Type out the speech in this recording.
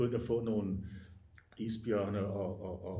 Begyndt at få nogle isbjørne og og